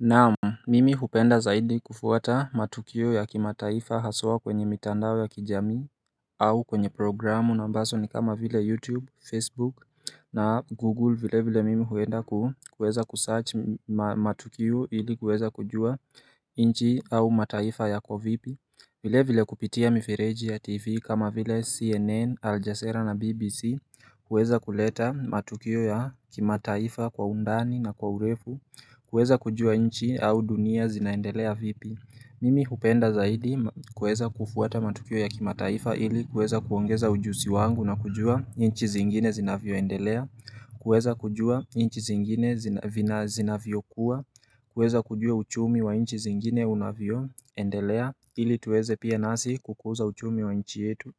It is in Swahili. Naam, mimi hupenda zaidi kufuata matukio ya kimataifa haswa kwenye mitandao ya kijamii au kwenye programu na mbaso ni kama vile YouTube, Facebook na Google vile vile mimi huenda kuweza kusarch matukio ili kuweza kujua inchi au mataifa ya kovipi vile vile kupitia mifireji ya tv kama vile cnn aljasera na bbc kuweza kuleta matukio ya kimataifa kwa undani na kwa urefu kuweza kujua inchi au dunia zinaendelea vipi Mimi hupenda zaidi kuweza kufuata matukio ya kimataifa ili kuweza kuongeza ujusi wangu na kujua inchi zingine zina vioendelea kuweza kujua inchi zingine vina zinavyo kuwa, kuweza kujua uchumi wa inchi zingine unavyo, endelea ili tuweze pia nasi kukuza uchumi wa inchi yetu